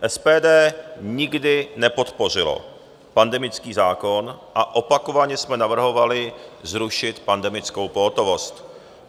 SPD nikdy nepodpořilo pandemický zákon a opakovaně jsme navrhovali zrušit pandemickou pohotovost.